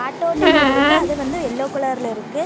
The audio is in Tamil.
ஆட்டோ நின்னுட்ருக்கு அது வந்து எல்லோ கலர்ல இருக்கு.